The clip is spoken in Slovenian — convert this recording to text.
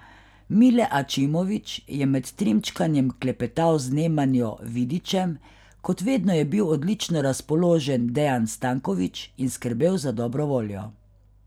Mile Ačimović je med trimčkanjem klepetal z Nemanjo Vidićem, kot vedno je bil odlično razpoložen Dejan Stanković in skrbel za dobro voljo.